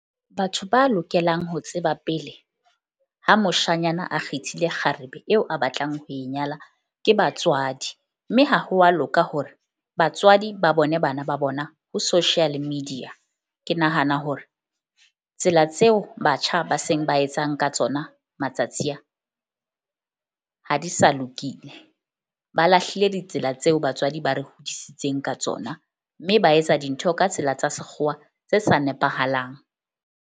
Batho ba lokelang ho tseba pele ha moshanyana a kgethile kgarebe eo a batlang ho e nyala ke batswadi. Mme ha ho wa loka hore batswadi ba bone bana ba bona ho social media. Ke nahana hore tsela tseo batjha ba seng ba etsang ka tsona matsatsi a ha di sa lokile. Ba lahlile ditsela tseo batswadi ba re hodisitseng ka tsona. Mme ba etsa dintho ka tsela tsa sekgowa tse sa nepahalang.